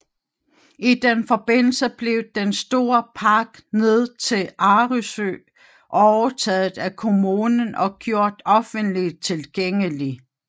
I den forbindelse blev den store park ned til Arresø overtaget af Kommunen og gjort offentligt tilgængelig